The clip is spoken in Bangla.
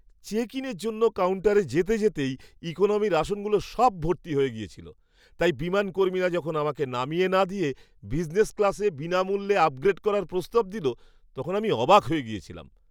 চেক ইনের জন্য কাউন্টারে যেতে যেতেই ইকোনমির আসনগুলো সব ভর্তি হয়ে গেছিলো, তাই বিমান কর্মীরা যখন আমাকে নামিয়ে না দিয়ে বিজনেস ক্লাসে বিনামূল্যে আপগ্রেড করার প্রস্তাব দিল তখন আমি অবাক হয়ে গেছিলাম।